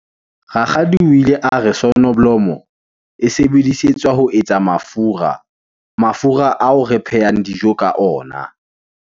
Rakgadi o ile a re sonoblomo e sebedisetswa ho etsa mafura, mafura ao re phehang dijo ka ona.